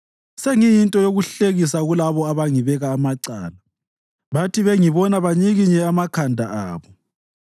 Sengiyinto yokuhlekisa kulabo abangibeka amacala; bathi bengibona banyikinye amakhanda abo.